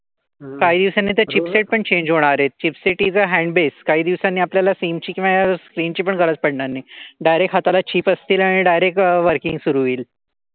काही दिवसांनी तर चिपसेट पण चेन्ज होणार आहेत. Chipset is a hand base काही दिवसांनी आपल्याला स्क्रीनची पण गरज पडणार नाही. डारेक्ट हाताला चिप असतील आणि डारेक्ट वर्किंग सुरू होईल.